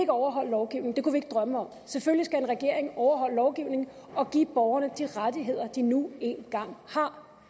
overholde lovgivningen det kunne vi ikke drømme om selvfølgelig skal en regering overholde lovgivningen og give borgerne de rettigheder de nu engang har